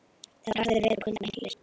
Þetta var harður vetur og kuldar miklir.